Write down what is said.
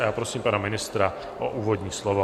A já prosím pana ministra o úvodní slovo.